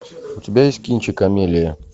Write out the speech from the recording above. у тебя есть кинчик амелия